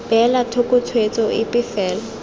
beela thoko tshwetso epe fela